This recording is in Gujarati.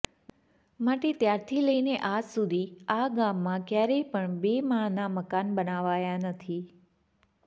માટે ત્યારથી લઈને આજ સુધી આ ગામમાં ક્યારેય પણ બે માણના મકાન બનાવાયા નથી